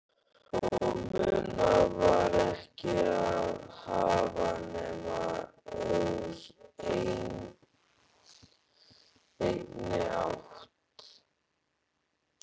Og munað var ekki að hafa nema úr einni átt